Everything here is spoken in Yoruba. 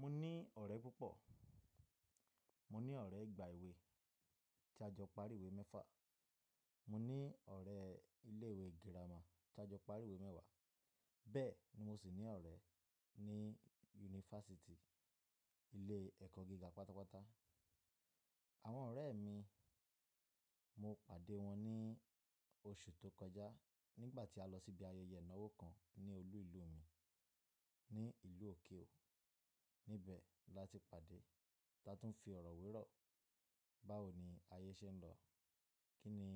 Mo ní ọ̀rẹ́ púpọ̀, mo ní ọ̀rẹ́ ìgbà èwe tí a jọ parí ìwé mẹ́fà, mo ní ọ̀rẹ́ ilé ìwé girama tí a jọ parí ìwé mẹ́wàá, bẹ́ẹ̀ ni mo sì ní ọ̀rẹ́ ní yunifásítì, ilé ẹ̀kọ́ gíga pátápátá. Àwọn ọ̀rẹ́ mi, mo pàdé wọn ní oṣù tó kọjá nígbà tí a lọ síbi ayẹyẹ ìnáwó kan ní olú ìlú mi, ní ìlú òkè ò. Ní ibẹ̀ la ti pàdé, ta tún fi ọ̀rọ̀ wírọ̀ báwo ni ayé ṣe ń lọ, kí ni